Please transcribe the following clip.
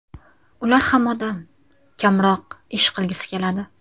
Ular ham odam, kamroq ish qilgisi keladi.